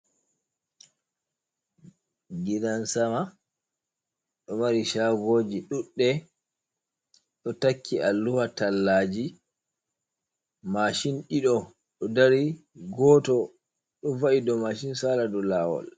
Gidan-sama ɗo mari shagoji duɗɗe ɗo takki a luha tallaji. Mashin ɗiɗo ɗo dari goto ɗo va’i dou mashin sala dou lawol...